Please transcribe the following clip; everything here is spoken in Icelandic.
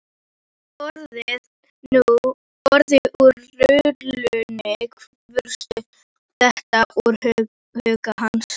Orðin úr rullunni virtust detta úr huga hans.